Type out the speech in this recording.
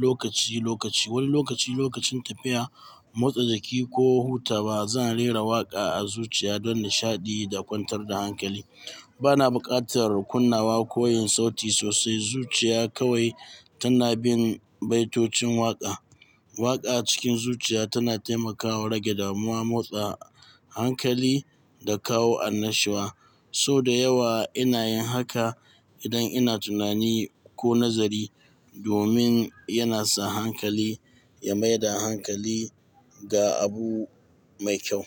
lokaci-lokaci. Wani lokaci lokacin tafiya, motsa jiki ko hutawa, zan rera waƙa a zuciya don nishaɗi da kwantar da hankali. Bana buƙatar kunnawa ko yin sauti sosai, zuciya kawai tana bin baitocin waƙa. Waƙa cikin zuciya tana taimakawa rage damuwa, motsa hankali da kawo annashuwa. So da yawa ina yin haka idan ina tunani ko nazari domin yana sa hankali ya maida hankali ga abu mai kyau.